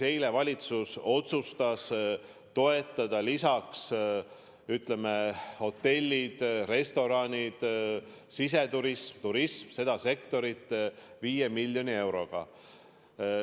Eile valitsus otsustas toetada hotelle, restorane, siseturismi ja turismi – seda sektorit – lisaks 5 miljoni euroga.